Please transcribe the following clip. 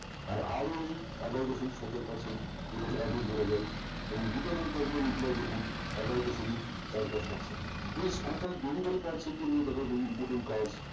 আর ওই এগারো দশমিক সতেরো percent যেটাকে আক্রোশ বলা যাই এবং রিটননকারী দের employee দেখুন এগারো দশমিক চারদশ পাঁচ প্রেস অর্থাৎ delivery র মত important কাজ